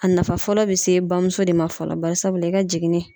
A nafa fɔlɔ bɛ se bamuso de ma fɔlɔ barisabula i ka jiginni